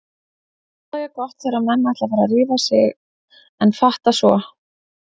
Alltaf jafn gott þegar menn ætla að fara að rífa sig en fatta svo